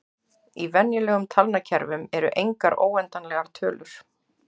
Í venjulegum talnakerfum eru engar óendanlegar tölur.